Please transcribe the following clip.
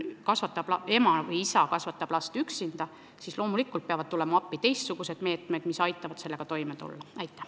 Aga kui ema või isa kasvatab last üksinda, siis loomulikult peavad tulema appi teistsugused meetmed, mis aitavad selle olukorraga toime tulla.